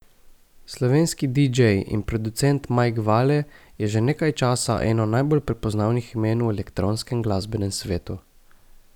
Slovenski didžej in producent Mike Vale je že nekaj časa eno najbolj prepoznavnih imen v elektronskem glasbenem svetu.